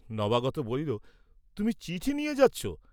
নবাগত বলিল, "তুমি চিঠি নিয়ে যাচ্ছ?"